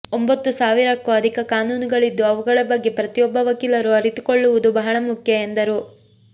ಒಂಬತ್ತು ಸಾವಿರಕ್ಕೂ ಅಧಿಕ ಕಾನೂನುಗಳಿದ್ದು ಅವುಗಳ ಬಗ್ಗೆ ಪ್ರತಿಯೊಬ್ಬ ವಕೀಲರು ಅರಿತುಕೊಳ್ಳುವುದು ಬಹಳ ಮುಖ್ಯ ಎಂದರು